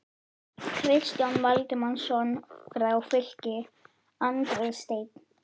Kristján Valdimarsson frá Fylki, Andri Steinn???